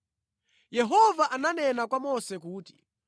Yehova ananena kwa Mose kuti,